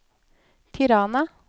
Tirana